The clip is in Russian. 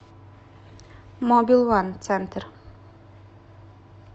мобилван центр